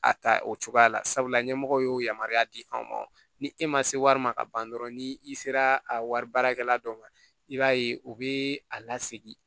A ta o cogoya la sabula ɲɛmɔgɔ y'o yamaruya di anw ma ni e ma se wari ma ka ban dɔrɔn ni i sera a wari baarakɛla dɔ ma i b'a ye u bɛ a lasegin